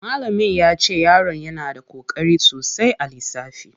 Malamin yace yaron yana da koƙari sosai a lissafi.